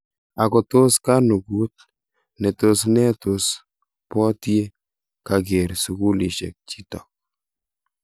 Ako tos kanukut ne tos ne tos pot ye kaker sukulishek chitok.?